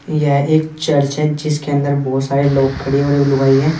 यह एक चर्च है जिसके अंदर बहोत सारे लोग खड़े हुए और एगो लुगाई है।